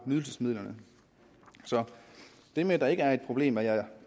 nydelsesmidler så det med at der ikke er et problem er jeg